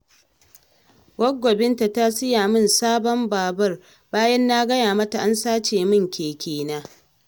Gwaggo Binta ta siya min sabon babur, bayan na gaya mata an sace min kekena